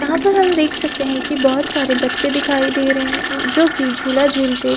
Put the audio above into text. यहाँ पर हम देख सकते है कि बहुत सारे बच्चे दिखाई दे रहै है जोकि झूला झूलते --